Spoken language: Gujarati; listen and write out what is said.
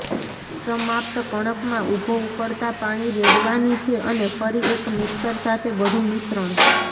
સમાપ્ત કણક માં ઊભો ઉકળતા પાણી રેડવાની છે અને ફરી એક મિક્સર સાથે બધું મિશ્રણ